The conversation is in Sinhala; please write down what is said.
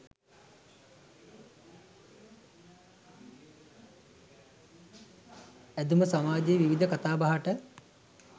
ඇඳුම සමාජයේ විවිධ කතාබහට